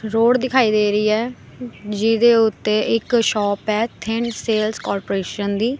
Road ਦਿਖਾਈ ਦੇ ਰਹੀ ਹੈ ਜਿਹਦੇ ਓੱਤੇ ਇੱਕ ਸ਼ੌਪ ਹੈ ਥਿੰਡ ਸੇਲਸ ਕੋਰਪੋਰੇਸ਼ਨ ਦੀ।